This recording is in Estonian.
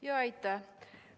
Aitäh!